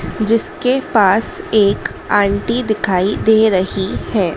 जिसके पास एक आंटी दिखाई दे रही हैं।